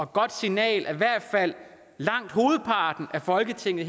godt signal at i hvert fald langt hovedparten af folketinget